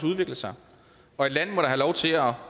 udvikle sig og et land må da have lov til at